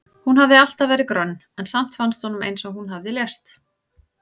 Hún hafði alltaf verið grönn en samt fannst honum eins og hún hefði lést.